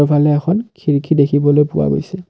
ইফালে এখন খিৰিকী দেখিবলৈ পোৱা গৈছে।